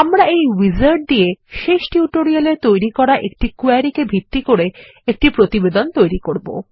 আমরা এই উইজার্ড দিয়েশেষ টিউটোরিয়াল এতৈরি করা একটি কোয়েরি এ ভিত্তি করে একটি প্রতিবেদন তৈরী করব